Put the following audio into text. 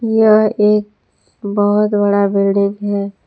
यह एक बहोत बड़ा बिल्डिंग है।